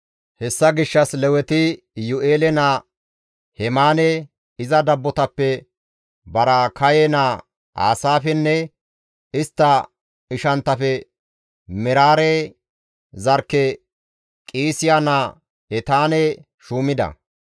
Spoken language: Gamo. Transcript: Hessa gishshas Leweti Iyu7eele naa Hemaane, iza dabbotappe Baraakaye naa Aasaafenne istta ishanttafe Meraare zarkke Qiisiya naa Etaane shuumida.